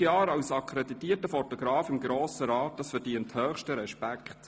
40 Jahre als akkreditierter Fotograf im Grossen Rat, das verdient höchsten Respekt.